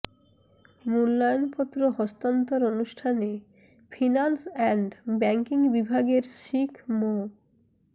মূল্যায়ণপত্র হস্তান্তর অনুষ্ঠানে finance and banking বিভাগের শিক মো